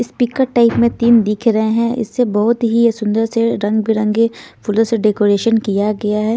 Speaker type में तीन दिख रहे हैं इससे बहुत ही सुंदर से रंगबिरंगे फुल से डेकोरेशन किया गया है।